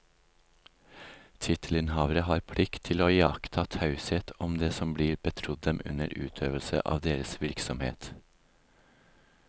Tittelinnehavere har plikt til å iaktta taushet om det som blir betrodd dem under utøvelse av deres virksomhet.